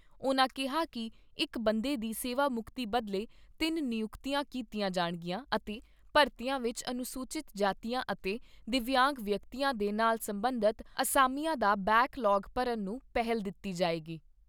ਉਨ੍ਹਾਂ ਕਿਹਾ ਕਿ ਇਕ ਬੰਦੇ ਦੀ ਸੇਵਾ ਮੁਕਤੀ ਬਦਲੇ ਤਿੰਨ ਨਿਯੁਕਤੀਆਂ ਕੀਤੀਆਂ ਜਾਣਗੀਆਂ ਅਤੇ ਭਾਰਤੀਆਂ ਵਿਚ ਅਨੁਸੂਚਿਤ ਜਾਤੀਆਂ ਅਤੇ ਦਿਵਿਆਂਗ ਵਿਅਕਤੀਆਂ ਦੇ ਨਾਲ ਸਬੰਧਤ ਅਸਾਮੀਆਂ ਦਾ ਬੈਕ ਲਾਗ ਭਰਨ ਨੂੰ ਪਹਿਲ ਦਿੱਤੀ ਜਾਏਗੀ।